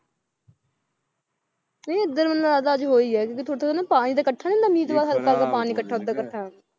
ਨਹੀਂ ਇੱਧਰ ਮੈਨੂੰ ਲੱਗਦਾ ਅੱਜ ਹੋਈ ਹੈ ਕਿਉਂਕਿ ਥੋੜ੍ਹਾ ਥੋੜ੍ਹਾ ਨਾ ਪਾਣੀ ਜਿਹਾ ਇਕੱਠਾ ਨੀ ਹੁੰਦਾ ਮੀਂਹ ਤੋਂ ਬਾਅਦ ਹਲਕਾ ਜਿਹਾ ਪਾਣੀ ਇਕੱਠਾ ਓਦਾਂ ਇਕੱਠਾ ਹੈ,